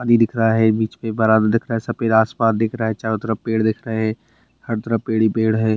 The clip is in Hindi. दिख रहा है बीच पे दिख रहा है सफ़ेद आसमान दिख रहा है चारों तरफ़ पेड़ दिख रहें हैं हर तरफ पेड़ ही पेड़ है।